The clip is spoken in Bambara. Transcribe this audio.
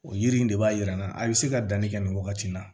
O yiri in de b'a yira n na a bɛ se ka danni kɛ nin wagati in na